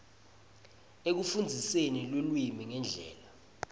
ekufundziseni lulwimi ngendlela